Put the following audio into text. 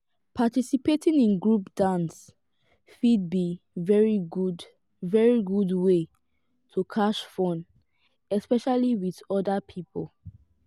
participating in group dance fit be very good very good wey to catch fun especially with oda pipo